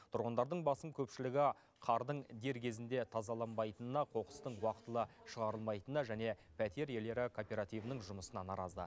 тұрғындардың басым көпшілігі қардың дер кезінде тазаланбайтынына қоқыстың уақытылы шығарылмайтынына және пәтер иелері кооперативінің жұмысына наразы